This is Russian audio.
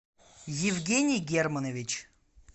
евгений германович